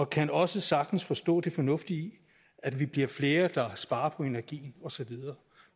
kan også sagtens forstå det fornuftige i at vi bliver flere der sparer på energien osv